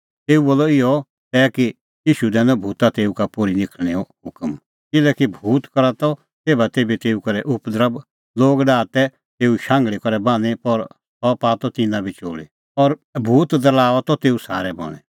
तेऊ बोलअ इहअ तै कि ईशू दैनअ भूता तेऊ का पोर्ही निखल़णेंओ हुकम किल्हैकि भूत करा त तेभातेभी तेऊ करै उपद्रभ लोग ता डाहा तै तेऊ शांघल़ी करै बान्हीं पर सह पाआ त तिन्नां बी चोल़ी और भूत दरल़ाऊआ त तेऊ सारै बणैं